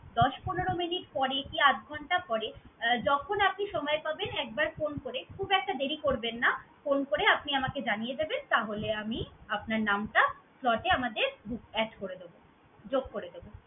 দশ পনেরো minute পরে কি আধঘণ্টা পরে, যখন আপনি সময় পাবেন, একবার phone করে খুব একটা দেরি করবেন না, phone করে আপনি আমাকে জানিয়ে দেবেন। তাহলে আমি আপনার নামটা slot এ আমাদের add করে দেবো, যোগ করে দেব।